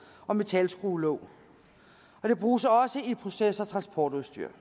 og metalskruelåg og det bruges også i proces og transportudstyr